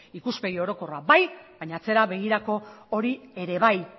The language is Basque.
ikuspegi orokorrak bai baina atzera begirako hori ere bai